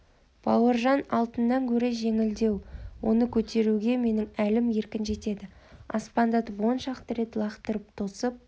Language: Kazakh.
бауыржан алтыннан гөрі жеңілдеу оны көтеруге менің әлім еркін жетеді аспандатып он шақты рет лақтырып тосып